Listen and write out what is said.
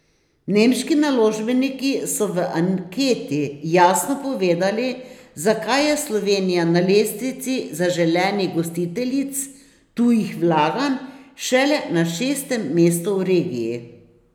Nemški naložbeniki so v anketi jasno povedali, zakaj je Slovenija na lestvici zaželenih gostiteljic tujih vlaganj šele na šestem mestu v regiji.